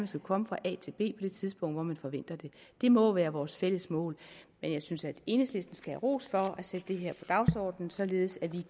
skal komme fra a til b på det tidspunkt hvor man forventer det det må være vores fælles mål men jeg synes at enhedslisten skal have ros for at sætte det her på dagsordenen således at vi